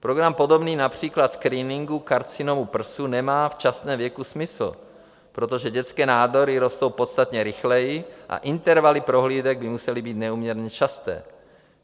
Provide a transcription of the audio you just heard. Program podobný například screeningu karcinomu prsu nemá v časném věku smysl, protože dětské nádory rostou podstatně rychleji a intervaly prohlídek by musely být neúměrně časté.